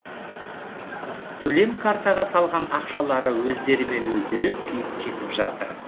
төлем картаға салған ақшалары өздерімен өздері күйіп кетіп жатыр